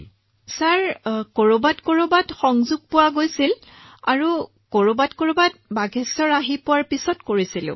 Punam Nautiyal sir কৰবাত কৰবাত পাইছিল কেতিয়াবা বাগেশ্বৰলৈ অহাৰ পিছত আমি এইটো কৰিছিলো